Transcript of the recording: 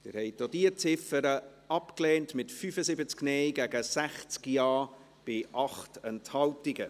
Sie haben auch diese Ziffer abgelehnt, mit 75 Nein- gegen 60 Ja-Stimmen bei 8 Enthaltungen.